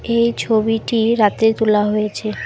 এই ছবিটি রাতে তোলা হয়েছে।